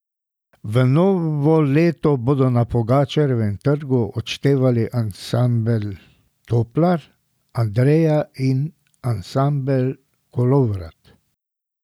V novo leto bodo na Pogačarjevem trgu odštevali ansambel Toplar, Andreja in ansambel Kolovrat.